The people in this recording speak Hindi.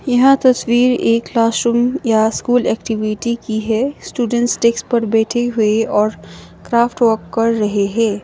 यह तस्वीर एक क्लास रूम या स्कूल एक्टिविटी की है स्टूडेंट डेस्क पर बैठे हुए और क्राफ्ट वर्क कर रहे है।